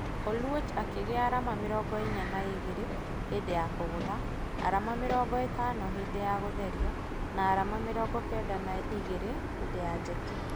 Oluoch akĩgĩa arama mĩrongo inya na igĩrĩ hĩndĩ ya kũgutha, arama mĩrongo ĩtano hĩndĩ ya gũtheria na arama mĩrongo kenda na igĩrĩ hĩndĩ ya jeki.